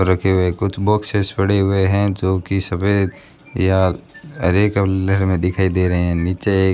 रखे हुए कुछ बॉक्स पड़े हुए हैं जो की सफेद या हरे कलर में दिखाई दे रहे हैं नीचे --